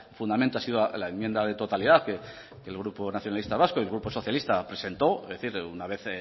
fundamento ha sido la enmienda de totalidad que el grupo nacionalista vasco y el grupo socialista presentó es decir una vez